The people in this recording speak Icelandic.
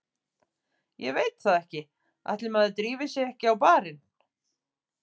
Ég veit það ekki, ætli maður drífi sig ekki á barinn.